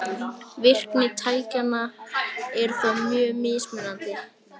Virkni tækjanna er þó mjög mismunandi.